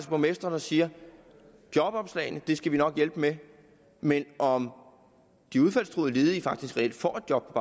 borgmestre der siger jobopslagene skal vi nok hjælpe med men om de udfaldstruede ledige faktisk reelt får et job